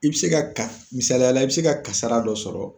I bi se ka ka, misaliyala i bi se ka kasara dɔ sɔrɔ.